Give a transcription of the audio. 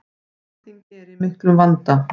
Alþingi er í miklum vanda.